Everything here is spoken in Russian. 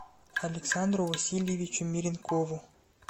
александру васильевичу меренкову